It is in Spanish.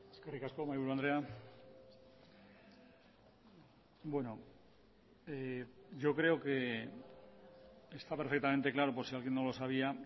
eskerrik asko mahaiburu andrea bueno yo creo que está perfectamente claro por si alguien no lo sabía